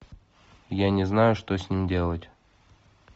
я не знаю что с ним делать